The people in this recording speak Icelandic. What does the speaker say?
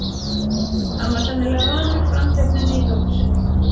Hann var sennilega vanur framhleypninni í dóttur sinni.